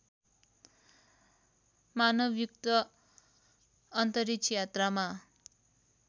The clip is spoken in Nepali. मानवयुक्त अन्तरिक्ष यात्रामा